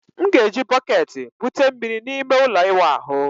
M ga-eji bọketi bute mmiri na ime ụlọ ịwụ ahụ.